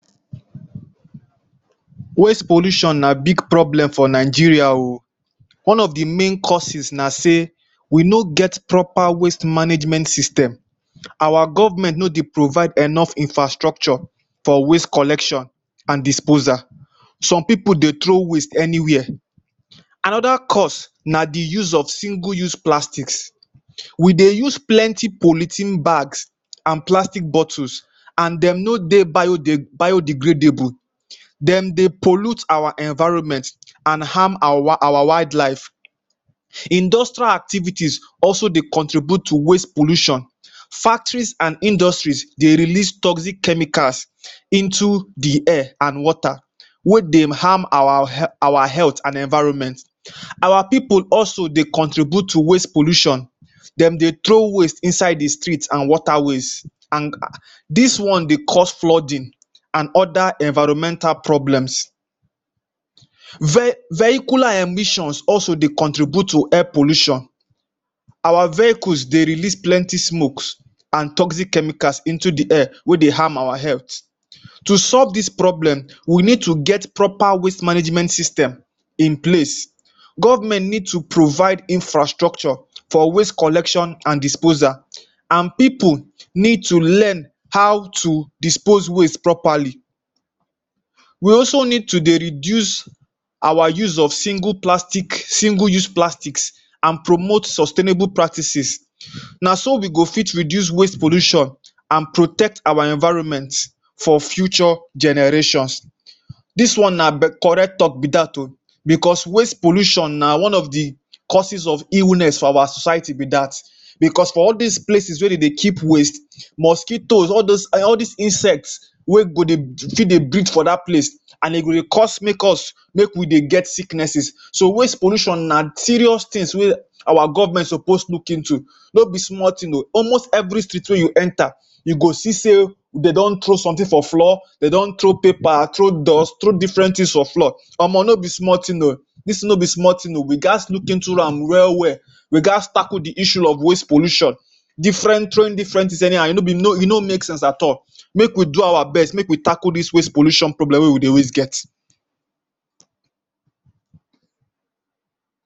Waste pollution na big problem for Nigeria oh. One of the main causes na sey, we no get proper waste management system. Our government no dey provide enough infrastructure for waste collection and disposal. Some pipu dey throw waste anywhere. Another cause na the use of single use plastic. We dey use plenty polythene bag and plastic bottles and they no dey biodegradable. um Dem dey pollute our environment and harm our our wild life. Industrial activities also dey contribute to waste pollutuon. Factories and industries dey release toxic chemicals into the air and water, wey dey harm our our health and environment. um Our pipu also dey contribute to waste pollution. Dem dey throw waste inside the street and water waste and dis one dey cause flooding and other environmental problems. Ve Vehicular emissions also dey contribute to air pollution. Our vehicles dey release plenty smokes and toxic chemicals into the air wey dey harm our health. To solve dis problem, we need to get proper waste management system in place. Government needs to provide infrastructure for waste collection and disposal. And pipu need to learn how to dispose waste properly. We also need to dey reduce our use of single plastic, single use plastics and promote sustainable practices um. Na so we go fit reduce waste pollution and protect our environment for future generations. Dis one na be correct talk be dat oh because waste pollution na one of the causes of illness for our society be dat. Because for all dis places wey dem dey keep waste um, mosquitoes, all dos all des insects wey go dey still dey breed for dat place and e go cause make us make we dey get sicknesses. So waste pollution na serious things wey our government suppose look into. No be small thing oh. Almost every street wey you enter you go see sey dem don throw something for floor, dem don throw paper, throw dust, throw different things for floor. Omo no be small thing oh. Dis thing no be small thing oh. We gat look into am well well. We gat tackle the issue of waste pollution. Different throwing different things anyhow, e be e no make sense at all. Make we do our best, make we tackle dis waste pollution problem wey we dey always get.